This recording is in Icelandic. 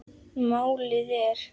Málið er